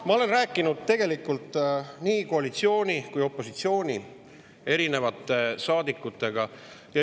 Ma olen rääkinud tegelikult nii koalitsiooni kui ka opositsiooni saadikutega.